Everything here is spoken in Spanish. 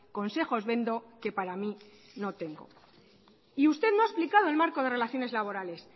consejos vendo que para mí no tengo y usted no ha explicado el marco de relaciones laborales